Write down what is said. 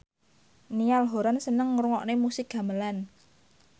Niall Horran seneng ngrungokne musik gamelan